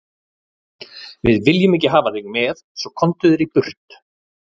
Við viljum ekki hafa þig svo, komdu þér burt.